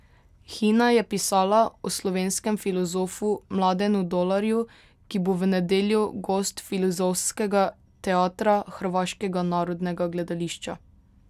Hina je pisala o slovenskem filozofu Mladenu Dolarju, ki bo v nedeljo gost Filozofskega teatra Hrvaškega narodnega gledališča.